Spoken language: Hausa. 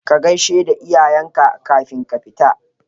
Ka gaisheda iyayenka kafin ka fita